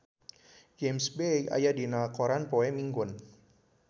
James Bay aya dina koran poe Minggon